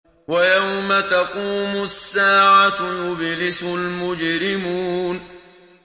وَيَوْمَ تَقُومُ السَّاعَةُ يُبْلِسُ الْمُجْرِمُونَ